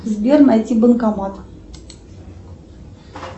сбер найти банкомат